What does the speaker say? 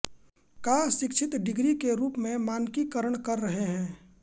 का शिक्षित डिग्री के रूप में मानकीकरण कर रहे हैं